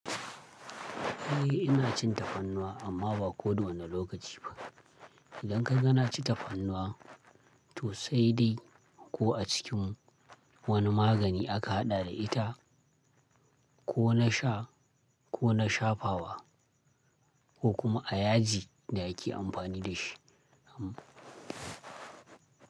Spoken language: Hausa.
Eh ina cin tafarnuwa amma ba kodawane lokaci ba. Idan kaga na ci tafarnuwa to sai dai ko a cikin wani magani aka haɗa da ita ko na sha ko na shafawa ko kuma a yaji da ake amfani da shi. Am.